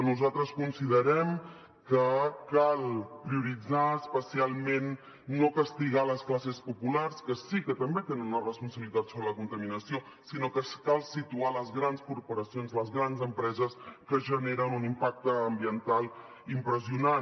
nosaltres considerem que cal prioritzar especialment no castigar les classes populars que sí que també tenen una responsabilitat sobre la contaminació sinó que cal situar les grans corporacions les grans empreses que generen un impacte ambiental impressionant